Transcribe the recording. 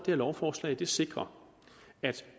her lovforslag sikrer at